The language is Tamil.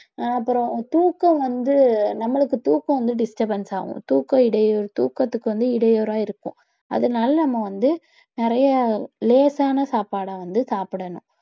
அப்புறம் தூக்கம் வந்து நம்மளுக்கு தூக்கம் வந்து disturbance ஆகும் தூக்கம் இடையூறு தூக்கத்துக்கு வந்து இடையூறா இருக்கும் அதனாலே நம்ம வந்து நிறைய லேசான சாப்பாட வந்து சாப்பிடணும்